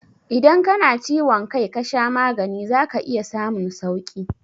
Idan ka na ciwon kai ka sha magani za ka iya samun sauƙi